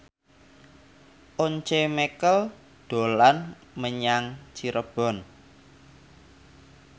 Once Mekel dolan menyang Cirebon